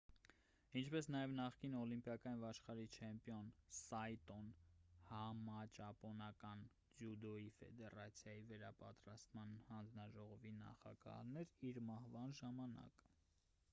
ինչպես նաև նախկին օլիմպիական և աշխարհի չեմպիոն սայտոն համաճապոնական ձյուդոյի ֆեդերացիայի վերապատրաստման հանձնաժողովի նախագահն էր իր մահվան ժամանակ